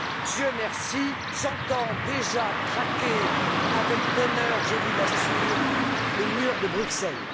Dieu merci, j'entends déjà craquer avec bonheur, je vous l'assure, le mur de Bruxelles.